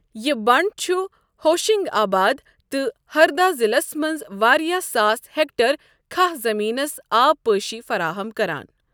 یہِ بنٛڈ چھُ ہوشنگ آباد تہٕ ہردا ضِلَس منٛز واریٛاہ ساس ہٮ۪کٹَر کَھہَہ زٔمیٖنَس آب پٲشی فراہم کران۔